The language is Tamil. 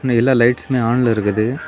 இன்னும் எல்லா லைட்ஸ்மே ஆன்ல இருக்குது.